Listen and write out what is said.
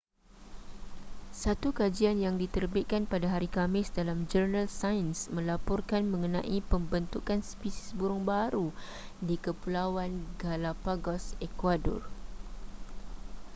satu kajian yang diterbitkan pada hari khamis dalam jurnal sains melaporkan mengenai pembentukan spesies burung baharu di kepulauan galápagos ecuador